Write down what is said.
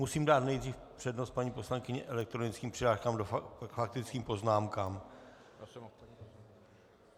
Musím dát nejdřív přednost, paní poslankyně, elektronickým přihláškám k faktickým poznámkám.